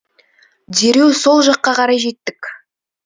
дереу сол жаққа қарай жеттік